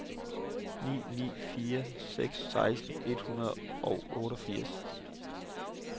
ni ni fire seks seksten et hundrede og otteogfirs